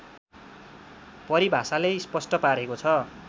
परिभाषाले स्पष्ट पारेको छ